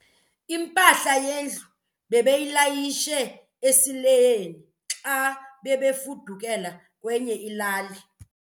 Impahla yendlu bebeyilayishe esileyini xa bebefudukela kwenye ilali.